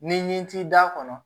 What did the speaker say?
Ni ɲi t'i da kɔnɔ